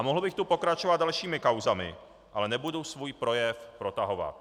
A mohl bych tu pokračovat dalšími kauzami, ale nebudu svůj projev protahovat.